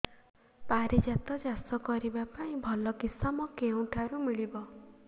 ପାରିଜାତ ଚାଷ କରିବା ପାଇଁ ଭଲ କିଶମ କେଉଁଠାରୁ ମିଳିବ